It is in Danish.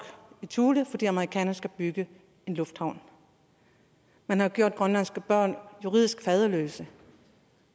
i thule fordi amerikanerne skulle bygge en lufthavn man har gjort grønlandske børn juridisk faderløse